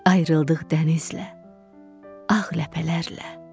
Ayrıldıq dənizlə, ağ ləpələrlə.